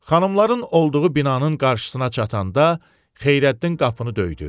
Xanımların olduğu binanın qarşısına çatanda, Xeyrəddin qapını döydü.